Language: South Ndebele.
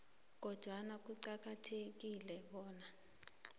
kodwana kuqakathekile bona